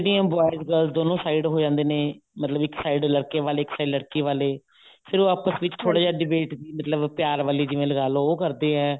boys girls ਦੋਨੋਂ side ਹੋ ਜਾਂਦੇ ਨੇ ਮਤਲਬ ਇੱਕ side ਲੜਕੇ ਵਾਲੇ ਇੱਕ side ਲੜਕੀ ਵਾਲੇ ਫਿਰ ਉਹ ਆਪਸ ਵਿੱਚ debate ਮਤਲਬ ਪਿਆਰ ਵਾਲੀ ਜਿਵੇਂ ਲਗਾਲੋ ਉਹ ਕਰਦੇ ਏ